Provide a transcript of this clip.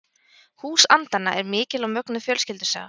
Hús andanna er mikil og mögnuð fjölskyldusaga.